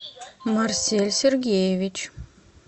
марсель сергеевич